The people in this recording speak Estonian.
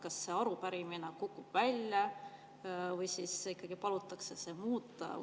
Kas see arupärimine kukub välja või ikkagi palutakse seda muuta?